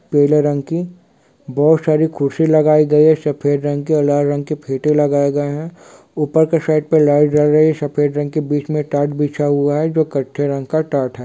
पीले रंग की बहोत सारी कुर्सी लगाई गई है सफ़ेद रंग की और लाल रंग के फीते लगाए गए है ऊपर के साइड पे लाइट जल रही है सफ़ेद रंग की बीच में टाट बिछा हुआ है जो कत्थई रंग का टाट है।